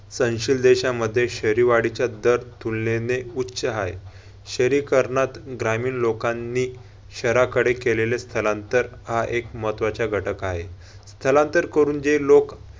सहनशील देशामध्ये शहरीवाढीच्या दर तुलनेने उच्च हाय. शहरीकरणात ग्रामीण लोकांनी शहराकडे केलेले स्थलांतर हा एक महत्वाचा घटक हाय. स्थलांतर करून जे लोक